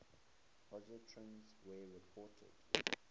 positrons were reported